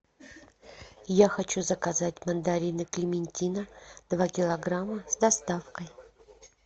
я хочу заказать мандарины клементина два килограмма с доставкой